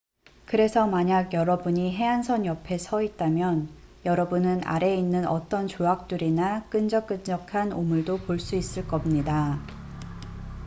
그래서 만약 여러분이 해안선 옆에 서 있다면 여러분은 아래에 있는 어떤 조약돌이나 끈적끈적한 오물도 볼 수 있을 겁니다